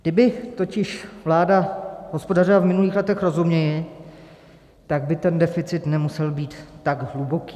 Kdyby totiž vláda hospodařila v minulých letech rozumněji, tak by ten deficit nemusel být tak hluboký.